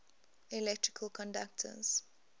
electrical conductors